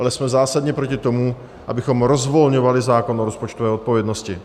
Ale jsme zásadně proti tomu, abychom rozvolňovali zákon o rozpočtové odpovědnosti.